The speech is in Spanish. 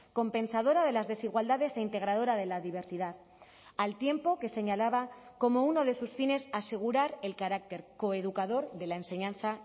compensadora de las desigualdades e integradora de la diversidad al tiempo que señalaba como uno de sus fines asegurar el carácter coeducador de la enseñanza